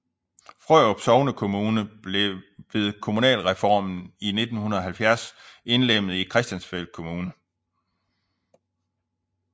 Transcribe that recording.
Frørup sognekommune blev ved kommunalreformen i 1970 indlemmet i Christiansfeld Kommune